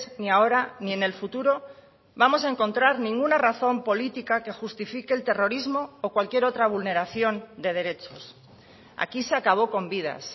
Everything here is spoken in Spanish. ni ahora ni en el futuro vamos a encontrar ninguna razón política que justifique el terrorismo o cualquier otra vulneración de derechos aquí se acabó con vidas